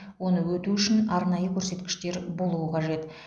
оны өту үшін арнайы көрсеткіштер болуы қажет